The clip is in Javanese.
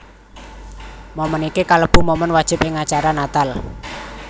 Moment iki kalebu momen wajib ing acara Natal